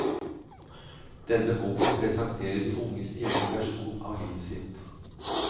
Denne boken presenterer de unges egen versjon av livet sitt.